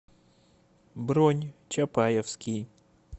бронь чапаевский